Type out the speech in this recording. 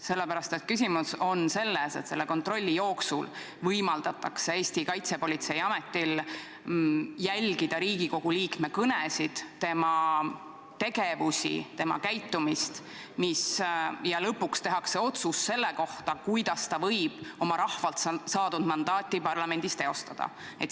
Sellepärast, et küsimus on selles: kontrolli jooksul võimaldatakse Eesti Kaitsepolitseiametil jälgida Riigikogu liikme kõnesid, tema tegevusi ja tema käitumist ning lõpuks tehakse otsus selle kohta, kuidas ta võib oma rahvalt saadud mandaati parlamendis teostada.